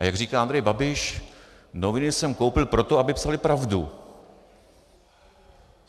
A jak říká Andrej Babiš, noviny jsem koupil proto, aby psaly pravdu.